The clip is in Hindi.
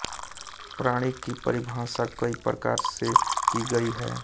प्राणी की परिभाषा कई प्रकार से की गई है